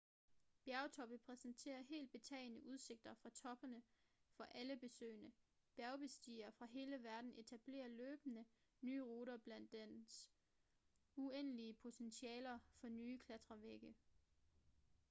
bjergtoppe præsenterer helt betagende udsigter fra toppene for alle besøgende bjergbestigere fra hele verden etablerer løbende nye ruter blandt dets uendelige potentialer for nye klatrevægge